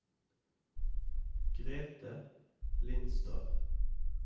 Grethe Lindstad